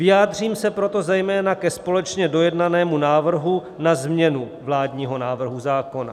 Vyjádřím se proto zejména ke společně dojednanému návrhu na změnu vládního návrhu zákona.